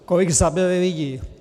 Kolik zabili lidí.